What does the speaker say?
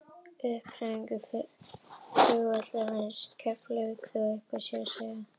uppbygging flugvallarins í keflavík hafði þó eitthvað þar að segja